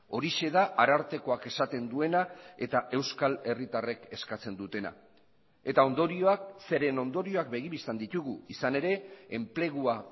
horixe da arartekoak esaten duena eta euskal herritarrek eskatzen dutena eta ondorioak zeren ondorioak begi bistan ditugu izan ere enplegua